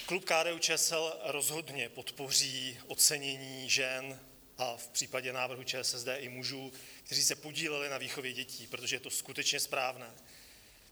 Klub KDU-ČSL rozhodně podpoří ocenění žen a v případě návrhu ČSSD i mužů, kteří se podíleli na výchově dětí, protože to je skutečně správné.